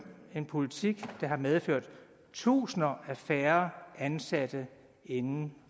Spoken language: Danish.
en politik der har medført tusinder af færre ansatte inden